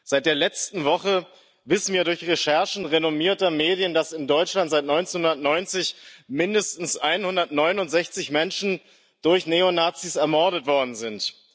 Seit der letzten Woche wissen wir durch Recherchen renommierter Medien, dass in Deutschland seit 1990 mindestens 169 Menschen durch Neonazis ermordet worden sind.